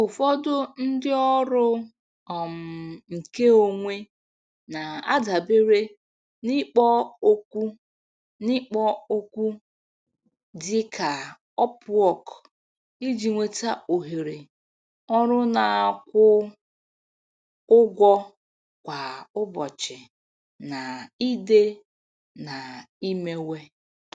Ụfọdụ ndị ọrụ um nke onwe na-adabere n'ikpo okwu n'ikpo okwu dị ka Upwork iji nweta ohere ọrụ na-akwụ ụgwọ kwa ụbọchị na ide na imewe.